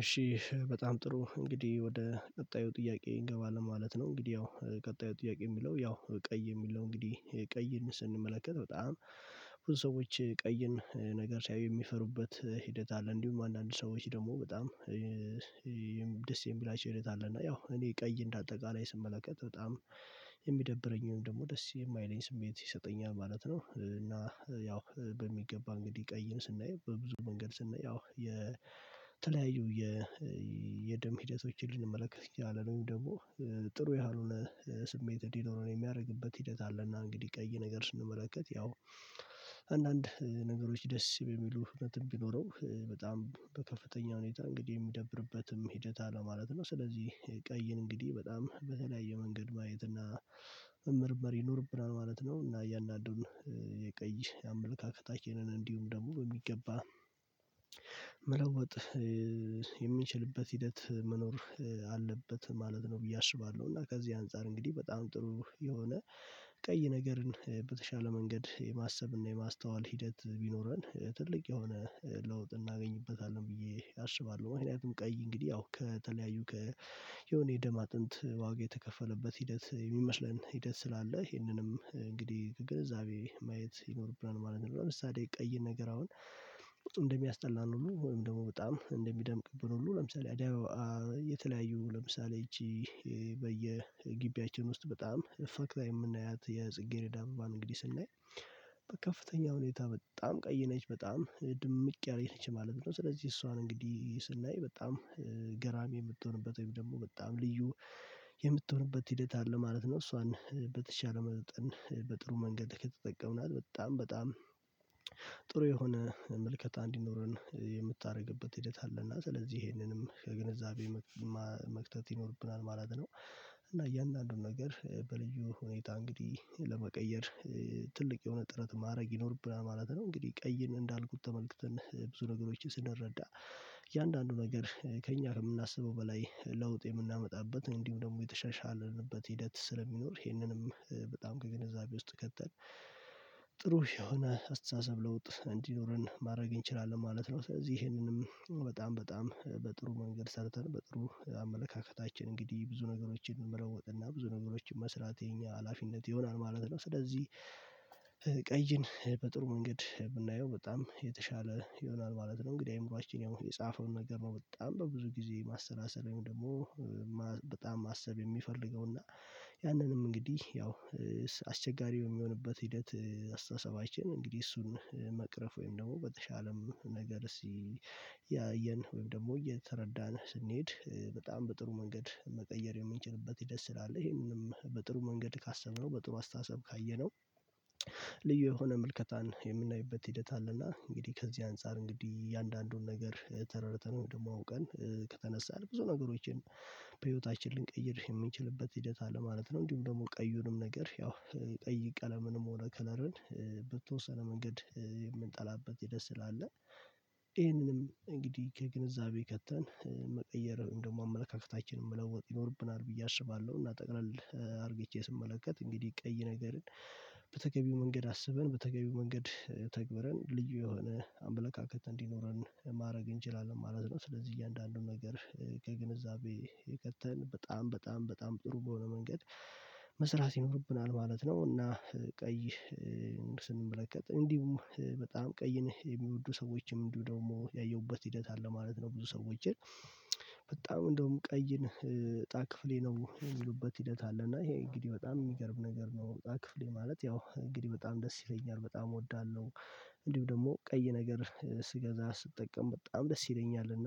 እሺ በጣም ጥሩ እንግዲህ ወደ ቀጣዩ ጥያቄ እንገባለን ማለት ነው። እንግዲህ ያው ቀጣዩ ጥያቄ የሚለው ያው ቀይ የሚለው እንግዲህ ቀይን ስንመለከት በጣም ብዙ ሰዎች ቀይን ነገር ሲያዩ የሚፈሩበት ሂደት አለ እንዲሁም አንዳንድ ሰዎች ደግሞ በጣም ደስ የሚላቸው ሂደት አለ። እና ያው ቀይ እንደ አጠቃላይ ስመለከት በጣም የሚደብረኝ ወይም ደግሞ ደስ የማይለኝ ስሜት ይሰጠኛል ማለት ነው። እና ያው በሚገባ እንግዲህ ቀይን ስናየው በብዙ መንገድ ስናየው ያው የተለያዩ የደም ሂደቶችን ልንመለከት እንችላለን ደግሞ ጥሩ ያልሆነ ስሜት እንዲኖረን የሚያደርግበት ሂደት አለ። እና እንግዲህ ቀይ ነገር ስንመለከት ያው አንዳንድ ነገሮች ደስ የሚሉ እውነትም ቢኖረው በጣም በከፍተኛ ሁኔታ እንግዲህ የሚደብርበትም ሂደት አለ ማለት ነው። ስለዚህ ቀይን እንግዲህ በጣም በተለያየ መንገድ ማየት እና መመርመር ይኖርብናል ማለት ነው። እና ያንን አንዱን የቀይ አመለካከታችንን እንዲሁም ደግሞ በሚገባ መለወጥ የሚችልበት ሂደት መኖር አለበት ማለት ነው ብዬ አስባለሁ። እና ከዚህ አንፃር እንግዲህ በጣም ጥሩ የሆነ ቀይ ነገርን በተሻለ መንገድ የማሰብና የማስተዋል ሂደት ቢኖረን ትልቅ የሆነ ለውጥ እናገኝበታለን ብዬ አስባለሁ። ምክንያቱም ቀይ እንግዲህ አዎ ከተለያዩ ከ የሆነ የደም አጥንት ዋጋ የተከፈለበት ሂደት የሚመስለን ሂደት ስላለ ይሄንንም እንግዲህ ከግንዛቤ ማየት ይኖርብናል ማለት ነው። ለምሳሌ ቀይ ነገር አሁን እንደሚያስጠላን ሁሉ ወይም ደግሞ በጣም እንደሚደምቅብን ሁሉ ለምሳሌ አደይ አበባ የተለያዩ ለምሳሌ ይቺ በየግቢያችን ውስጥ በጣም ፈክታ የምናያት የጽጌሬዳን እንግዲህ ስናይ በከፍተኛ ሁኔታ በጣም ቀይ ነች በጣም ድምቅ ያለች ነች ማለት ነው። ስለዚህ እሷን እንግዲህ ስናይ በጣም ገራሚ የምትሆንበት ወይም ደግሞ በጣም ልዩ የምትሆንበት ሂደት አለ ማለት ነው። እሷን በተቻለ መጠን በጥሩ መንገድ ከተጠቀምናት በጣም በጣም ጥሩ የሆነ ምልከታ እንዲኖረን የምታደርግበት ሂደት አለና ስለዚህ ይሄንንም ከግንዛቤ መክተት ይኖርብናል ማለት ነው። እና እያንዳንዱን ነገር በልዩ ሁኔታ እንግዲህ ለመቀየር ትልቅ የሆነ ጥረት ማድረግ ይኖርብናል ማለት ነው። እንግዲህ ቀይን እንዳልኩት ተመልክተን ብዙ ነገሮችን ስንረዳ እያንዳንዱ ነገር ከእኛ የምናስበው በላይ ለውጥ የምናመጣበት እንዲሁም ደግሞ የተሻሻልንበት ሂደት ስለሚኖር ይሄንንም በጣም ከግንዛቤ ውስጥ ከተን ጥሩ የሆነ አስተሳሰብ ለውጥ እንዲኖረን ማድረግ እንችላለን ማለት ነው። ስለዚህ ይሄንንም በጣም በጣም በጥሩ መንገድ ሰርተን በጥሩ አመለካከታችን እንግዲህ ብዙ ነገሮችን ብለውጥና ብዙ ነገሮችን መስራት የኛ ሀላፊነት ይሆናል ማለት ነው። ስለዚህ ቀይን በጥሩ መንገድ ብናየው በጣም የተሻለ ይሆናል ማለት ነው። እንግዲህ አይምሮአችን የጻፈውን ነገር ነው በጣም በብዙ ጊዜ ማሰላሰል ወይም ደግሞ በጣም ማሰብ የሚፈልገው እና ያንንም እንግዲህ ያው አስቸጋሪ በሚሆንበት ሂደት አስተሳሰባችን እንግዲህ እሱን መቅረፍ ወይም ደግሞ በተሻለም ነገር እያየን ወይም ደግሞ እየተረዳን ስንሄድ በጣም በጥሩ መንገድ መቀየር የምንችልበት ሂደት ስላለ ይሄንንም በጥሩ መንገድ ካሰብነው በጥሩ አስተሳሰብ ካየነው ልዩ የሆነ ምልከታን የምናይበት ሂደት አለና እንግዲህ ከዚህ አንፃር እንግዲህ እያንዳንዱን ነገር ተረድተነው ደግሞ አውቀን ከተነሳን ብዙ ነገሮችን በህይወታችን ልንቀይር የምንችልበት ሂደት አለ ማለት ነው። እንዲሁም ደግሞ ቀዩንም ነገር ያው ቀይ ቀለምንም ሆነ ከለርን መንገድ የምንጠላበት ሂደት ስላለ ይሄንንም እንግዲህ ከግንዛቤ ከተን መለወጥ ይኖርብናል ብዬ አስባለሁ። እና ጠቅለል አድርጌ ስመለከት እንግዲህ ቀይ ነገርን በተገቢው መንገድ አስበን በተገቢው መንገድ ተግበረን ልዩ የሆነ አምለካከት እንዲኖረን ማድረግ እንችላለን ማለት ነው። ስለዚህ እያንዳንዱን ነገር ከግንዛቤ የቀጠለ በጣም በጣም ጥሩ በሆነ መንገድ መስራት ይኖርብናል ማለት ነው። እና ቀይ ስንመለከት እንዲሁም በጣም ቀይን የሚወዱ ሰዎችም እንዲሁ ደግሞ ያየሁበት ሂደት አለ ማለት ነው። ብዙ ሰዎችን በጣም እንደውም ቀይን እጣ ክፍሌ ነው የሚሉበት ሂደት አለ እና ይሄ እንግዲህ በጣም የሚገርም ነገር ነው እጣ ክፍሌ ማለት ያው እንግዲህ በጣም ደስ ይለኛል በጣም እወዳለሁ። እንዲሁ ደግሞ ቀይ ነገር ስገዛ ስጠቀም በጣም ደስ ይለኛል እና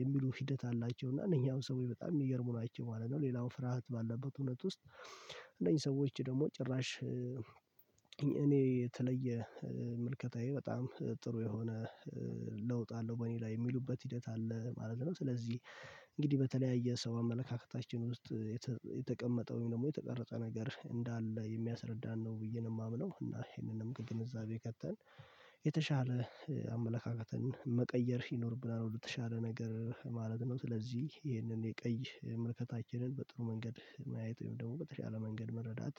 የሚሉ ሂደት አላቸው እና እነኝህ ሰው በጣም የሚገርሙ ናቸው ማለት ነው። ሌላው ፍርሃት ባለበት እውነት ውስጥ እነዚህ ሰዎች ደግሞ ጭራሽ እኔ የተለየ ምልከታዬ በጣም ጥሩ የሆነ ለውጥ አለው በእኔ ላይ የሚሉበት ሂደት አለ ማለት ነው። ስለዚህ እንግዲህ በተለያየ ሰው አመለካከታችን ውስጥ የተቀመጠውን ደግሞ የተቀረጸ ነገር እንዳለ የሚያስረዳን ነው ብዬ ነው የማምነው። እና ይሄንንም ከግንዛቤ ከተን የተሻለ አመለካከትን መቀየር ይኖርብናል ወደተሻለ ነገር ማለት ነው። ስለዚህ ይሄንን የቀይ ምልከታችንን በጥሩ መንገድ ማየት ወይም ደግሞ በተሻለ መንገድ መረዳት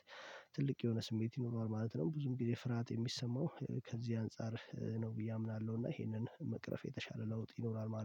ትልቅ የሆነ ስሜት ይኖረዋል ማለት ነው። ብዙም ጊዜ ፍርሃት የሚሰማው ከዚህ አንፃር ነው ብዬ አምናለሁ። እና ይሄንን መቅረፍ የተሻለ ለውጥ ይኖራል